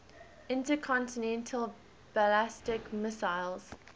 intercontinental ballistic missiles